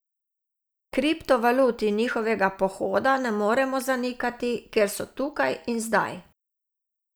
Kriptovalut in njihovega pohoda ne moremo zanikati, ker so tukaj in zdaj.